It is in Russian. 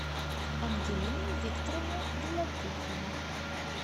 ангелина викторовна белопухова